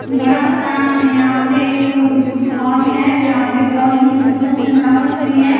बड़ा सा यहां पे एक हॉल है जहां पे बहुत ही सुंदर सजावट हुई है।